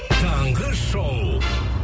таңғы шоу